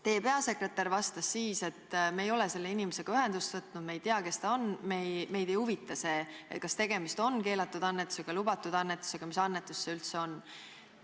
Teie peasekretär vastas siis, et me ei ole selle inimesega ühendust võtnud, me ei tea, kes ta on ja meid ei huvita see, kas tegemist on keelatud annetusega või lubatud annetusega või mis annetus see üldse on.